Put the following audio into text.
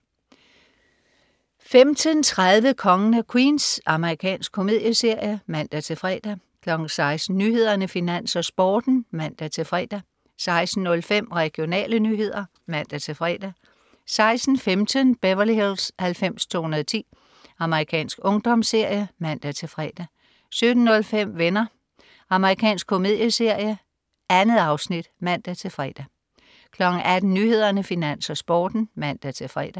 15.30 Kongen af Queens. Amerikansk komedieserie (man-fre) 16.00 Nyhederne, Finans, Sporten (man-fre) 16.05 Regionale nyheder (man-fre) 16.15 Beverly Hills 90210. Amerikansk ungdomsserie (man-fre) 17.05 Venner. Amerikansk komedieserie. 2 afsnit (man-fre) 18.00 Nyhederne, Finans, Sporten (man-fre)